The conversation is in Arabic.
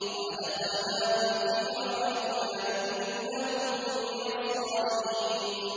وَأَدْخَلْنَاهُمْ فِي رَحْمَتِنَا ۖ إِنَّهُم مِّنَ الصَّالِحِينَ